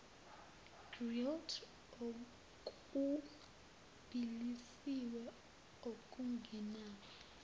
grilled okubilisiwe okungenawo